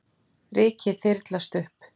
Rykið þyrlast upp.